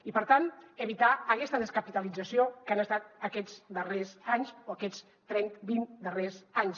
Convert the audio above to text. i per tant evitar aquesta descapitalització que han estat aquests darrers anys o aquests vint darrers anys